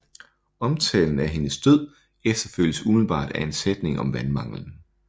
Omtalen af hendes død efterfølges umiddelbart af en sætning om vandmanglen